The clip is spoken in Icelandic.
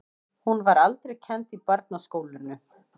Hún var aldrei kennd í barnaskólunum.